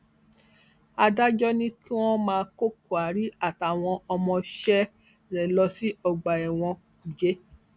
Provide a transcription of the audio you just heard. adájọ ni kí wọn máa kó kyari àtàwọn ọmọọṣẹ rẹ lọ sí ọgbà ẹwọn kújẹ